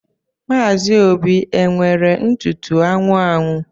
Maazi Óbì e nwere ntụtụ anwụ anwụ?